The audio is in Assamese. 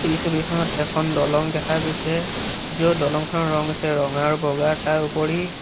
এই ছবিখনত এখন দলং দেখা গৈছে য'ত দলং খনৰ ৰঙ হৈছে ৰঙা আৰু বগা তাৰোপৰি--